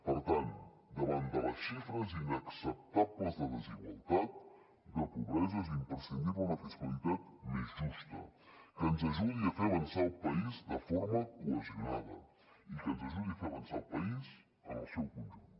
per tant davant de les xifres inacceptables de desigualtat de pobresa és imprescindible una fiscalitat més justa que ens ajudi a fer avançar el país de forma cohesionada i que ens ajudi a fer avançar el país en el seu conjunt